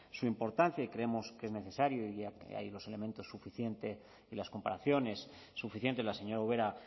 su importancia y creemos que es necesario ya que hay dos elementos suficientes y las comparaciones suficiente la señora ubera